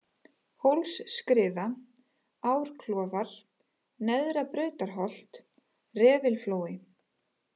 Hólsskriða, Árklofar, Neðra-Brautarholt, Refilflói